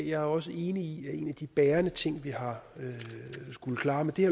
jeg er også enig i at en af de bærende ting vi har skullet klare med det